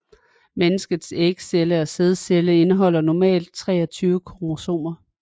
Menneskets ægceller og sædceller indeholder normalt 23 kromosomer